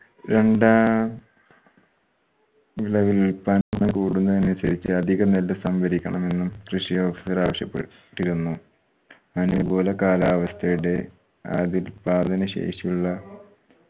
രണ്ടാം വിള വിൽപ്പന കൂടുന്നതിന് അനുസരിച്ച് അധിക നെല്ല് സംഭരിക്കണമെന്നും കൃഷി officer ആവശ്യപ്പെട്ടിരുന്നു. അനുകൂല കാലാവസ്ഥയുടെ ആതി ഉത്പാദന ശേഷിയുള്ള